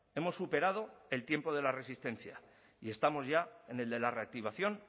hemos superado el tiempo de la resistencia y estamos ya en el de la reactivación